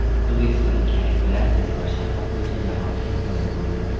O‘zbekistonlik aka-ukalar tezkor shaxmat bo‘yicha jahon chempioni bo‘ldi.